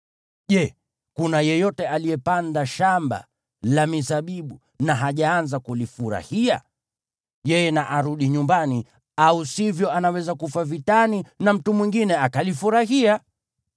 Je, kuna yeyote aliyepanda shamba la mizabibu na hajaanza kulifurahia? Yeye na arudi nyumbani, au sivyo anaweza kufa vitani na mtu mwingine akalifurahia.